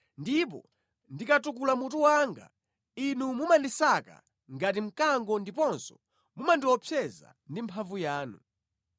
Ndipo ndikatukula mutu wanga, Inu mumandisaka ngati mkango ndiponso mumandiopseza ndi mphamvu yanu.